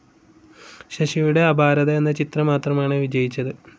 ശശിയുടെ അപാരത എന്ന ചിത്രം മാത്രമാണ് വിജയിച്ചത്.